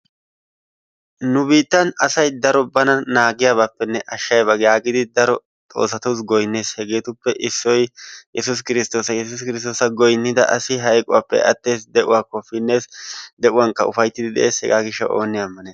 Nu biittan asay daro bana naagiyabaappenne ashiyaba yagidi daro Xoossatuusi goynnees. Hegetuppe issoy Yessuus kirsttoossa yessuussi kirsttoossa goynnida asi hayqquwappe attees, de'uwakko pinees, deuwankka ufayttidi de'ees hegaa gishshawu oone A ammanees.